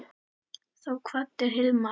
Þá kvaddi Hilmar.